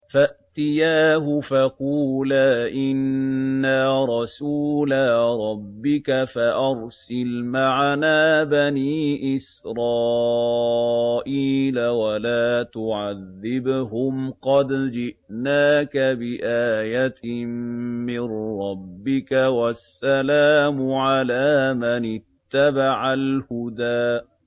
فَأْتِيَاهُ فَقُولَا إِنَّا رَسُولَا رَبِّكَ فَأَرْسِلْ مَعَنَا بَنِي إِسْرَائِيلَ وَلَا تُعَذِّبْهُمْ ۖ قَدْ جِئْنَاكَ بِآيَةٍ مِّن رَّبِّكَ ۖ وَالسَّلَامُ عَلَىٰ مَنِ اتَّبَعَ الْهُدَىٰ